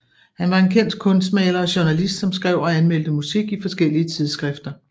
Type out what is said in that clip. Han var en kendt kunstmaler og journalist som skrev og anmeldte musik i forskellige tidsskrifter